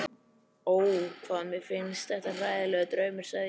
Ó, hvað mér finnst þetta hræðilegur draumur, sagði hún